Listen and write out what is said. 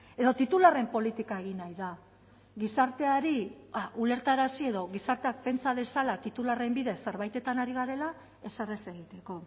edo titularren politika egin nahi da gizarteari ulertarazi edo gizarteak pentsa dezala titularren bidez zerbaitetan ari garela ezer ez egiteko